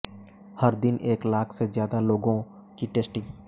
हर दिन एक लाख से ज्यादा लोगों की टेस्टिंग